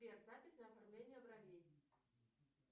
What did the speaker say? сбер запись на оформление бровей